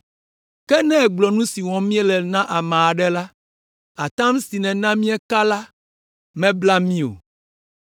Ke ne ègblɔ nu si wɔm míele la na ame aɖe la, atam si nèna míeka la, mabla mí o.”